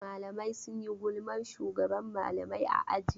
Mlaamai suna gulman shugaban malamai a aji.